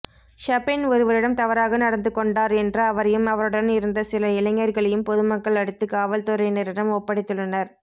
ஷபெண் ஒருவரிடம் தவறாக நடந்து கொண்டார் என்று அவரையும் அவருடன் இருந்த சில இளைஞர்களையும் பொதுமக்கள் அடித்து காவல்துறையினரிடம் ஒப்படைத்துள்ளனர்